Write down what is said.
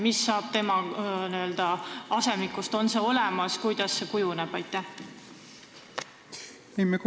Mis saab tema n-ö asemikust, on see olemas ja kuidas see kõik kujuneb?